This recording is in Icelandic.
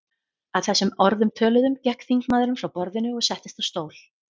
Að þessum orðum töluðum gekk þingmaðurinn frá borðinu og settist á stól.